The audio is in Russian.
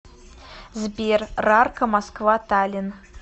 сбер рарка москва таллин